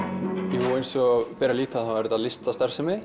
jú eins og ber að líta þá er þetta listastarfsemi